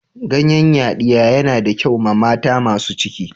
Ganyen yadiya na da kyau ma mata masun ciki.